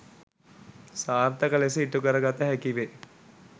සාර්ථක ලෙස ඉටුකර ගත හැකිවේ.